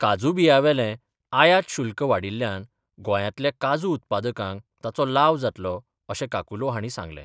काजू बियावेलें आयात शुल्क वाडयिल्ल्यान गोंयांतल्या काजू उत्पादकांक ताचो लाव जातलो अशें काकुलो हांणी सांगलें.